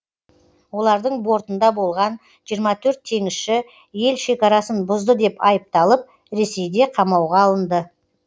олардың бортында болған жиырма төрт теңізші ел шекарасын бұзды деп айыпталып ресейде қамауға алынды